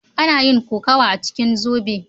Ana yin kokawa a cikin zobe.